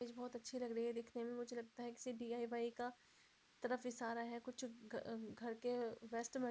मेज बहुत अच्छी लग रही है दिखने में मुझे लगता है किसी डी_आइ_वाई का -- तरफ इशारा है कुछ घर के वेस्ट मे --